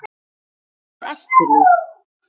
Hvað ertu líf?